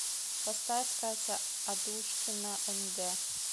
поставь катя адушкина нг